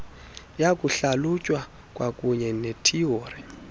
yokuhlalutya kwakuunye nethiyori